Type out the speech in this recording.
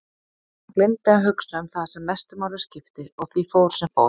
Hún gleymdi að hugsa um það sem mestu máli skipti og því fór sem fór.